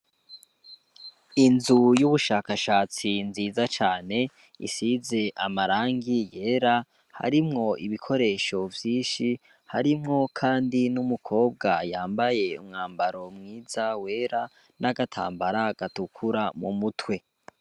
Inzu y'ubushakashatsi nziza cane, risize amarangi yera harimwo ibikoresho vyinshi, hariho Kandi n'umukobwa yambaye umwambaro mwiza wera n'agatambara gatukura mu mutwe.